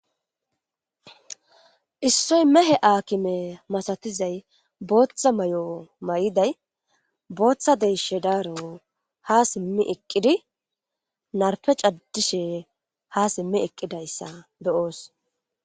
issoy mehe aakime masatizay booththa may7o may7iday booththa deyshe daaro ha simmi eqqidi narpe caddishe ha simmi eqqidayssa beyoos